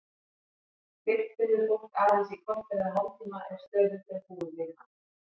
Lykt finnur fólk aðeins í korter eða hálftíma ef stöðugt er búið við hana.